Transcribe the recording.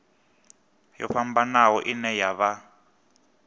yo fhambanaho ine ya vha